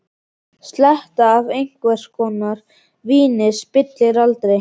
Sletta af einhvers konar víni spillir aldrei fyrir.